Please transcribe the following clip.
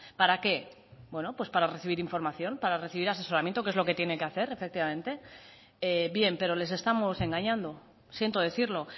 para qué bueno para recibir información para recibir asesoramiento que es lo que tiene que hacer efectivamente bien pero les estamos engañando siento decirlo